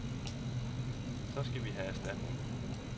Så skal vi have erstatning.